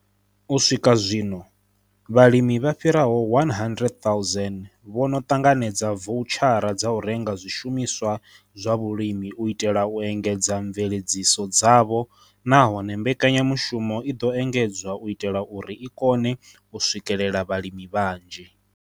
U swika zwino, vhalimi vha fhiraho 100 000 vho no ṱanganedza voutshara dza u renga zwishumiswa zwa vhulimi u itela u engedza mveledziso dzavho nahone mbekanyamushumo i ḓo engedzwa u itela uri i kone u swikela vhalimi vhanzhi.